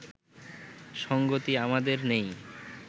সঙ্গতি আমাদের নেই